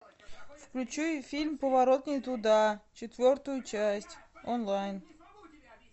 включи фильм поворот не туда четвертую часть онлайн